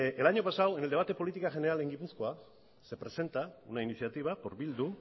el año pasado en el debate de política general en gipuzkoa se presenta una iniciativa por bildu